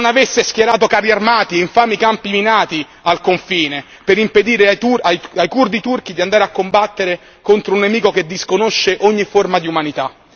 Se non avesse schierato carri armati, infami campi minati al confine, per impedire ai curdi turchi di andare a combattere contro un nemico che disconosce ogni forma di umanità.